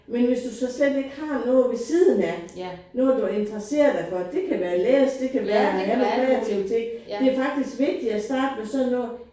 Men hvis du så slet ikke har noget ved siden af noget du interesserer dig for det kan være at læse det kan være alle kreative ting. Det faktisk vigtigere at starte med sådan noget